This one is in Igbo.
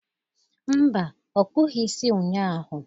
Mba, ọ kpụghi isi ụnyaahụ.